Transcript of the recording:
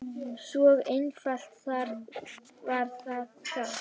Svo einfalt var það þá.